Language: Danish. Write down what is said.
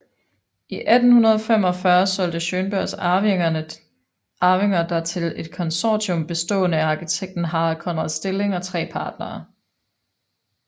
I 1845 solgte Schønbergs arvinger der til et konsortium bestående af arkitekten Harald Conrad Stilling og tre partnere